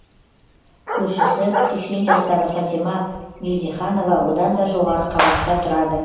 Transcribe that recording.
көршісі сексен жастағы фатима мелдеханова одан да жоғары қабатта тұрады